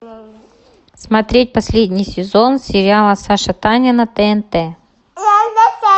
смотреть последний сезон сериала саша таня на тнт